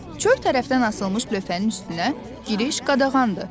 Çöl tərəfdən asılmış lövhənin üstünə giriş qadağandır.